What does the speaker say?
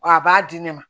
Wa a b'a di ne ma